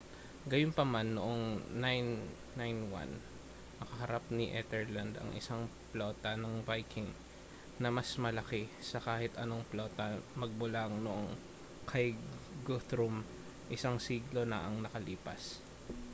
gayunpaman noong 991 nakaharap ni ethelred ang isang plota ng viking na mas malaki sa kahit anong plota magmula noong kay guthrum isang siglo na ang nakalipas